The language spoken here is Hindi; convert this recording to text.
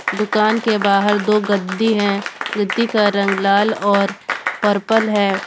दुकान के बाहर दो गद्दी है गद्दी का रंग लाल और पर्पल है।